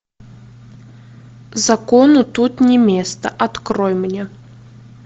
закону тут не место открой мне